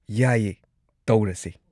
ꯌꯥꯏꯌꯦ, ꯇꯧꯔꯁꯦ꯫